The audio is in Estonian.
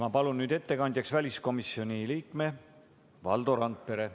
Ma palun nüüd ettekandjaks väliskomisjoni liikme Valdo Randpere.